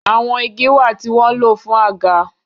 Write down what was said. àwọn ìgi wá tí wón ló fún Àga.